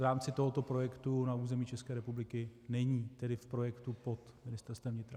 V rámci tohoto projektu na území České republiky není, tedy v projektu pod Ministerstvem vnitra.